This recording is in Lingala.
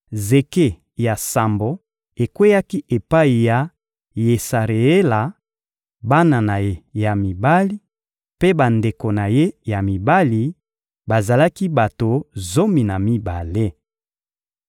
Zeke ya sambo ekweyaki epai ya Yesareela, bana na ye ya mibali mpe bandeko na ye ya mibali: bazalaki bato zomi na mibale.